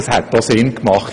Das hätte Sinn gemacht.